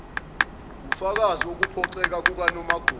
wufakazi wokuphoxeka kukanomagugu